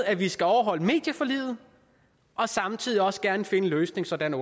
at vi skal overholde medieforliget og samtidig også gerne finde en løsning sådan at